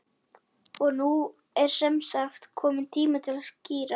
Og nú er semsagt kominn tími til að skíra.